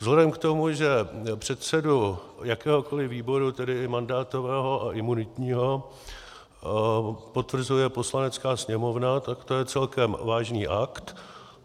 Vzhledem k tomu, že předsedu jakéhokoliv výboru, tedy i mandátového a imunitního, potvrzuje Poslanecká sněmovna, tak to je celkem vážný akt.